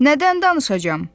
"Nədən danışacam?